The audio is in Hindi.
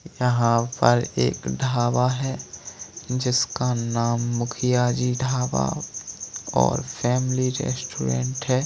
यहां पर एक ढाबा है जिसका नाम मुखिया जी ढाबा और फैमिली रेस्टोरेंट है।